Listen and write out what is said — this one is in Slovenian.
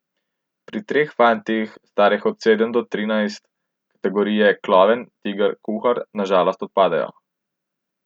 Pri treh fantih, starih od sedem do trinajst, kategorije klovn, tiger, kuhar na žalost odpadejo.